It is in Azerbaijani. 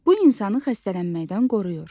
Bu insanı xəstələnməkdən qoruyur.